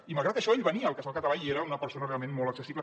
i malgrat això ell venia al casal català i era una persona realment molt accessible